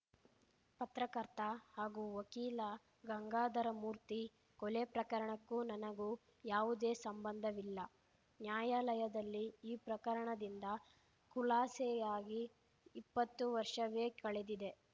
ಪತ್ರಕರ್ತ ಹಾಗೂ ವಕೀಲ ಗಂಗಾಧರಮೂರ್ತಿ ಕೊಲೆ ಪ್ರಕರಣಕ್ಕೂ ನನಗೂ ಯಾವುದೇ ಸಂಬಂಧವಿಲ್ಲ ನ್ಯಾಯಾಲಯದಲ್ಲಿ ಈ ಪ್ರಕರಣದಿಂದ ಖುಲಾಸೆಯಾಗಿ ಇಪ್ಪತ್ತು ವರ್ಷವೇ ಕಳೆದಿದೆ